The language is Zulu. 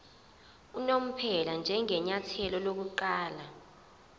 unomphela njengenyathelo lokuqala